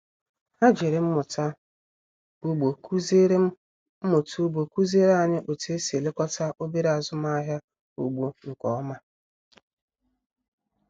Ha jiri mmụta ugbo kụziere mmụta ugbo kụziere anyị otú e si elekọta obere azụmahịa ugbo nke ọma